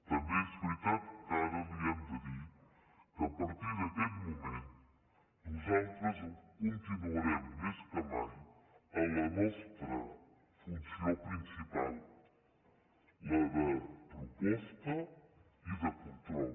també és veritat que ara li hem de dir que a partir d’aquest moment nosaltres continuarem més que mai en la nostra funció principal la de proposta i de control